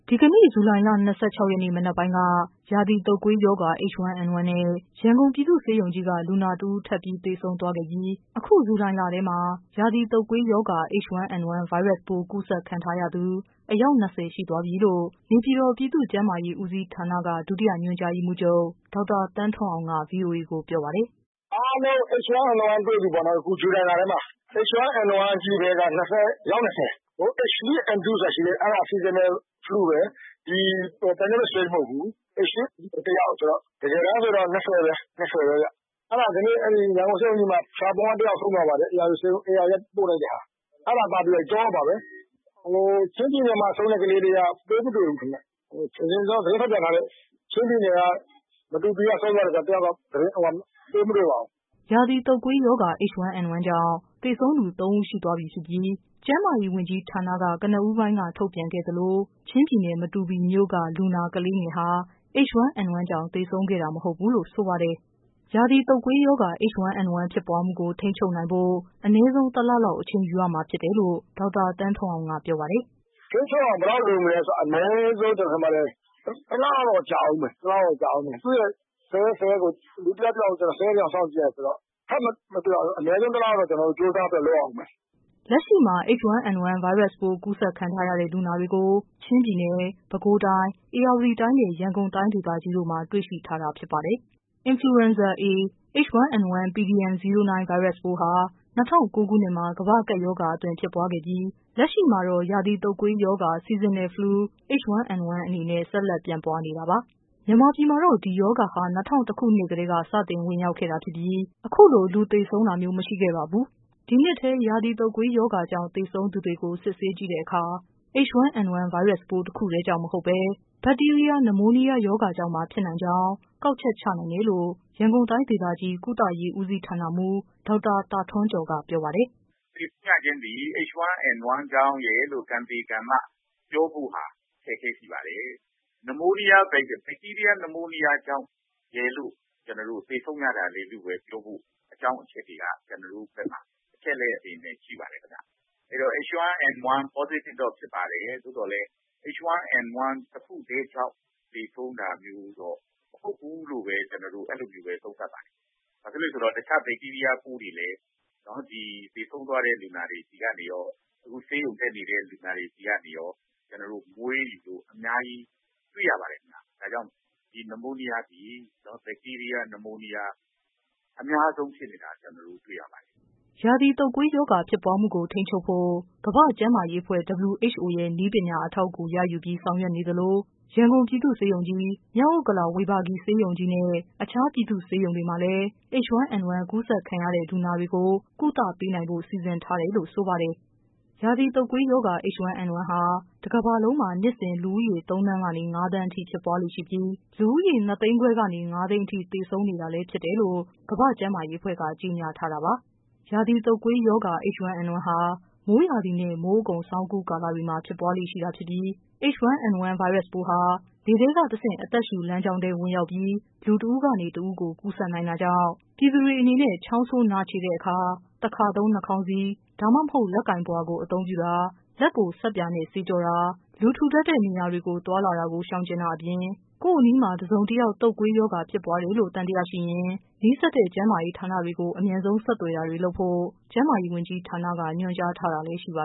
ဒီကနေ့ ဇူလိုင်လ ၂၆ရက်နေ့ မနက်ပိုင်းက ရာသီတုပ်ကွေးရောဂါ H1N1 နဲ့ ရန်ကုန် ပြည်သူ့ဆေးရုံကြီး က လူနာတဦး ထပ်သေဆုံးသွားခဲ့ပြီး အခု ဇူလိုင်လထဲမှာ ရာသီတုပ်ကွေးရောဂါ H1N1 ဗိုင်းရပ်စ်ပိုး ကူး စက်ခံရသူ အယောက် ၂၀ရှိသွားပြီလို့ နေပြည်တော် ပြည်သူ့ကျန်းမာရေးဦးစီးဌာနက ဒုတိယ ညွှန်ကြား ရေးမှူးချုပ် ဒေါက်တာ သန်းထွန်းအောင်က ဗွီအိုအေကို ပြောပါတယ်။ “အားလုံး H1N1တွေ့ပြီပေါ့နော် အခု ဇူလိုင်လထဲမှာ။ H1N1က အယောက် ၂၀၊ H2N2 ဆိုတာရှိသေးတယ် အဲဒါ Seasonal flue ပဲ extreme မဟုတ်ဘူး။ ဒီ H1N1က အယောက် ၂၀ ပဲ။ ဒီကနေ့ ရန်ကုန်ဆေးရုံကြီးမှာ ဖျာပုံက ဆုံးသွားပါတယ်။ ဧရာဝတီက ပို့လိုက်တဲ့ဟာ အဲဒါပါပဲ ၃ ယောက်ပါပဲ ။ ချင်းပြည်နယ်မှာ ဆုံးတဲ့ကလေးက ပိုးမတွေ့ဘူး။ သတင်းထုတ်ပြန်ထားတဲ့ မတူပီက ဆုံးတဲ့ ၁ယောက်ကတော့ ပိုးမတွေ့ပါဘူး။” ရာသီတုပ်ကွေးရောဂါ H1N1 ကြောင့် သေဆုံးသူ ၃ဦးရှိသွားပြီဖြစ်ပြီး ကျန်းမာရေးဝန်ကြီးဌာနက ကနဦး ပိုင်းက ထုတ်ပြန်ခဲ့သလို ချင်းပြည်နယ် မတူပီမြို့ က လူနာ ကလေးငယ်ဟာ H1N1 ကြောင့် သေဆုံးခဲ့ တာ မဟုတ်ဘူး လို့ ဆိုပါတယ်။ ရာသီတုပ်ကွေးရောဂါ H1N1 ဖြစ်ပွားမှုကို ထိန်းချုပ်နိုင်ဖို့ အနည်းဆုံး ၁လ လောက် အချိန်ယူရမှာ ဖြစ်တယ်လို့လည်း ဒေါက်တာ သန်းထွန်းအောင်က ပြောပါတယ်။ “ထိန်းချုပ်အောင် ဘယ်လောက်လိုမလဲဆိုတော့ အနည်းဆုံး ၁လ လောက်တော့ကြာဦးမယ်။ လူ၁ ယောက် ၁ ယောက်ကို ၁၀ ရက်လောက်စောင့်ကြည့်ရတယ်ဆိုတော့ အနည်းဆုံး ၁လ လောက်တော့ ကျနော်တို့ ကြိုးစားပြီးတော့ လုပ်ကြည့်ရဦးမယ်။” လက်ရှိမှာ H1N1 ဗိုင်းရပ်စ်ပိုး ကူစက်ခံထားရတဲ့လူနာတွေကို ချင်းပြည်နယ်၊ ပဲခူးတိုင်း၊ ဧရာဝတီတိုင်းနဲ့ ရန်ကုန်တိုင်းဒေသကြီးတို့မှာ တွေ့ရှိထားတာဖြစ်ပါတယ်။ Influenza A pdm09 ဗိုင်းရပ်စ်ပိုးဟာ ၂၀၀၉ ခုနှစ်မှာ ကမ္ဘာ့ကပ်ရောဂါအသွင် ဖြစ်ပွားခဲ့ပြီး လက်ရှိမှာတော့ ရာသီတုပ်ကွေးရောဂါ Seasonal Flu H1N1 အနေနဲ့ ဆက်လက်ပြန့်ပွားနေတာပါ။ မြန်မာပြည်မှာတော့ ဒီရောဂါဟာ ၂၀၀၁ ခုနှစ်ကတည်းက စတင်ဝင်ရောက်ခဲ့တာဖြစ်ပြီး အခုလို လူသေ ဆုံးတာမျိုး မရှိခဲ့ပါဘူး။ ဒီနှစ်ထဲ ရာသီတုပ်ကွေးရောဂါကြောင့် သေဆုံးသူတွေကို စစ်ဆေးကြည့်တဲ့အခါ H1N1 ဗိုင်းရပ်စ်ပိုး တခုတည်းကြောင့်မဟုတ်ဘဲ ဘတ်တီးရီးယား နမိုးနီးယားရောဂါကြောင့်ပါ ဖြစ်နိုင် ကြောင်း ကောက်ချက် ချနိုင်တယ်လို့ ရန်ကုန်တိုင်းဒေသကြီး ကုသရေး ဦးစီးဌာနမှူး ဒေါက်တာ သာ ထွန်းကျော် က ပြောပါတယ်။ “သေဆုံးရခြင်းသည်H1N1ကြောင့်ရယ်လို့ ကံသေကံမ ပြောဖို့ အခက်အခဲရှိပါတယ်။ ဘတ်တီးရီးယား နမိုးနီးယားရောဂါကြောင့်ရယ်လို့ သေဆုံးရတာလည်းလို့ပြောဖို့ ကျနေ်ာတို့မှာ အကြောင်းအချက်တွေက ကျနော်တို့ဘက်မှာ အချက်အလက်တွေနဲ့ ရှိပါတယ်ခင်ဗျ။ H1N1 positive တော့ဖြစ်ပါတယ်။ သို့သော်လည်းH1N1 တခုတည်းကြောင့်လို့တော့ သေဆုံးတာမျိုး မဟုတ်ဘူးလို့ပဲ ကျနော်တို့ အဲလိုသုံးသပ်ပါတယ်။ ဘာဖြစ်လို့လဲဆိုတော့ တခြား ဘတ်တီးရီးယားပိုးတွေလည်း သေဆုံးသွားတဲ့ လူနာတွေဆီကနေရော ၊ အခုဆေးရုံတက်နေတဲ့ လူနာတွေဆီကနေရော ကျနော်တို့ အများကြီးတွေ့ရပါတယ်ခင်ဗျ။ ဒါကြောင့် ဒီ နမိုးနီးယားသည် ဘတ်တီးရီးယား နမိုးနီးယား အများဆုံးဖြစ်နေတာ ကျနော်တို့ တွေ့ရပါတယ်။” ရာသီတုပ်ကွေးရောဂါ ဖြစ်ပွားမှုကို ထိန်းချုပ်ဖို့ ကမ္ဘာ့ကျန်းမာရေးအဖွဲ့ WHO ရဲ့ နည်းပညာ အထောက် အကူရယူပြီး ဆောင်ရွက်နေသလို ရန်ကုန်ပြည်သူ့ဆေးရုံကြီး၊ မြောက်ဥက္ကလာ ဝေဘာဂီ ဆေးရုံကြီးနဲ့ အခြား ပြည်သူ့ဆေးရုံတွေမှာလည်း H1N1 ကူးစက်ခံရတဲ့ လူနာတွေကို ကုသနိုင်ဖို့ စီမံထားတယ်လို့ ဆိုပါတယ်။ ရာသီတုပ်ကွေးရောဂါဟာ တကမ္ဘာလုံးမှာ နှစ်စဉ် လူဦးရေ ၃သန်းကနေ ၅သန်းအထိ ဖြစ်ပွားလေ့ရှိပြီး လူဦးရေ ၂သိန်းခွဲကနေ ၅သိန်းအထိ သေဆုံးနေတာလဲဖြစ်တယ်လို့ ကမ္ဘာ့ကျန်းမာရေးအဖွဲ့က ကြေညာ ထားတာပါ။ ရာသီတုတ်ကွေးရောဂါ H1N1 ဟာ မိုးရာသီနဲ့ မိုးအကုန် ဆောင်းအကူး ကာလတွေမှာ ဖြစ်ပွားလေ့ရှိ တာဖြစ်ပြီး H1N1 ဗိုင်းရပ်ပိုးဟာ လေထဲတဆင့် အသက်ရှုလမ်းကြောင်းထဲ ဝင်ရောက်ပြီး လူတဦးကနေ တဦးကို ကူးစက်နိုင်တာကြောင့် ပြည်သူတွေအနေနဲ့ ချောင်းဆိုး နှာချေတဲ့အခါ တခါသုံး နှာခေါင်းစည်း ဒါမှမဟုတ် လက်ပိုင်ပုဝါ အသုံးပြုတာ၊ လက်ကို ဆပ်ပြာနဲ့ သေချာ ဆေးကြောတာ၊ လူထူထပ်တဲ့ နေရာ တွေကို သွားလာတာကို ရှောင်တာ၊ ကိုယ့်အနီးမှာ တစုံတယောက် တုပ်ကွေးရောဂါဖြစ်ပွားတယ်လို့ သံ သယရှိရင် နီးစပ်တဲ့ ကျန်းမာရေး ဌာနကို အမြန်ဆုံးဆက်သွယ်တာတွေ လုပ်ဖို့ ကျန်းမာရေးဝန်ကြီးဌာန က ညွှန်ကြားထားတာလဲ ရှိပါ